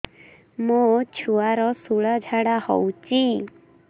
ମୋ ଛୁଆର ସୁଳା ଝାଡ଼ା ହଉଚି